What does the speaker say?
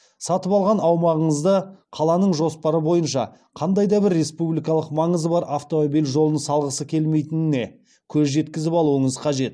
сатып алған аумағыңызды қаланың жоспары бойынша қандай да бір республикалық маңызы бар автомобиль жолын салғысы келмейтініне көз жеткізіп алуыңыз қажет